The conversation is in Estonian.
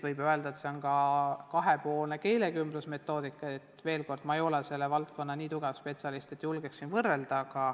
On olemas ka kahepoolne keelekümblusmetoodika, aga veel kord: ma ei ole selles valdkonnas nii tugev spetsialist, et julgeksin võrrelda.